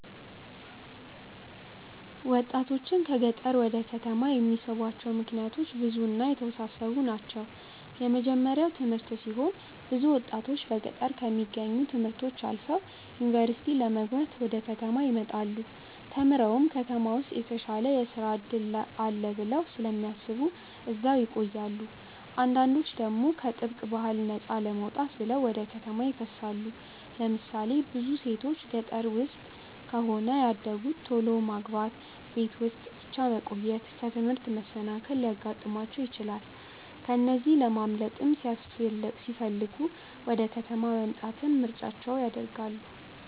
ወጣቶችን ከገጠር ወደ ከተማ የሚስቧቸው ምክንያቶች ብዙ እና የተወሳሰቡ ናቸው። የመጀመርያው ትምህርት ሲሆን ብዙ ወጣቶች በገጠር ከሚገኙ ት/ቤቶች አልፈው ዩኒቨርሲቲ ለመግባት ወደ ከተማ ይመጣሉ። ተምረውም ከተማ ውስጥ የተሻለ የስራ እድል አለ ብለው ስለሚያስቡ እዛው ይቆያሉ። አንዳንዶች ደግሞ ከጥብቅ ባህል ነፃ ለመውጣት ብለው ወደ ከተማ ይፈልሳሉ። ለምሳሌ ብዙ ሴቶች ገጠር ውስጥ ከሆነ ያደጉት ቶሎ ማግባት፣ ቤት ውስጥ ብቻ መቆየት፣ ከትምህርት መሰናከል ሊያጋጥማቸው ይችላል። ከዚህ ለማምለጥ ሲለሚፈልጉ ወደ ከተማ መምጣትን ምርጫቸው ያደርጋሉ።